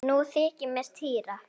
Nú þykir mér týra!